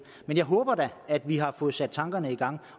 men jeg håber da at vi har fået sat tankerne i gang